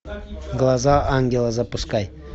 глаза ангела запускай